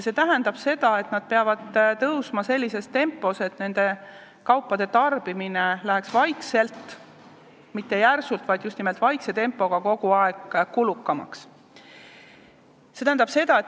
See tähendab, et nad peavad tõusma sellises tempos, et nende kaupade tarbimine läheks vaikselt – mitte järsult, vaid just nimelt vaikse tempoga – kogu aeg kulukamaks.